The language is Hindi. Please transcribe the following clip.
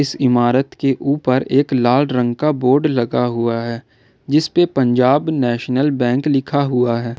इस इमारत के ऊपर एक लाल रंग का बोर्ड लगा हुआ है जिस पे पंजाब नेशनल बैंक लिखा हुआ है।